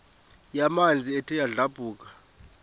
yamanzi ethe yadlabhuka